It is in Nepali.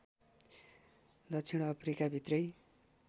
दक्षिण अफ्रिका भित्रै